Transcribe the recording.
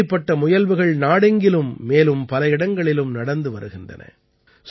இப்படிப்பட்ட முயல்வுகள் நாடெங்கிலும் மேலும் பல இடங்களிலும் நடந்து வருகின்றன